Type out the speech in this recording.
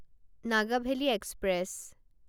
Nagavali express